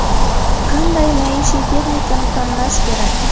Qanday maishiy texnikani tanlash kerak?